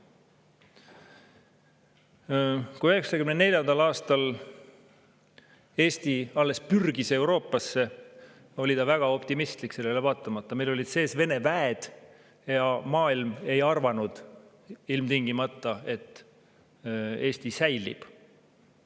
Kui 1994. aastal Eesti alles pürgis Euroopasse, oli ta väga optimistlik, sellele vaatamata, et meil olid sees Vene väed ja maailm ei arvanud, et Eesti ilmtingimata säilib.